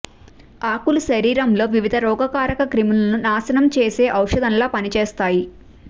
ఆకులు శరీరంలోని వివిధ రోగ కారక క్రిములను నాశనం చేసే ఔషధంలా పనిచేస్తాయి